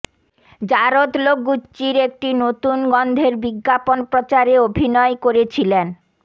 জারদ ল্যো গুচ্চির একটি নতুন গন্ধের বিজ্ঞাপন প্রচারে অভিনয় করেছিলেন